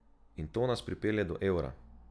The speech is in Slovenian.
In to nas pripelje do evra.